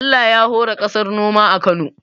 Allah ya hore kasar noma a Kano